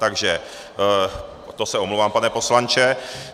Takže to se omlouvám, pane poslanče.